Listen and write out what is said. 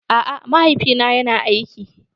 A'a mahaifi na yana aiki.